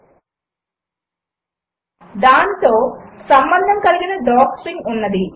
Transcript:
దానికి దానితో సంబంధము కలిగిన డాక్స్ట్రింగ్ ఉన్నది